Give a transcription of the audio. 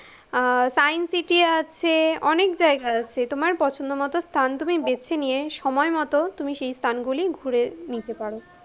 আহ science city আছে, অনেক জায়গা আছে, তোমার পছন্দমত স্থান তুমি বেছে নিয়ে, সময়মতো, তুমি সেই স্থানগুলি ঘুরে নিতে পারো।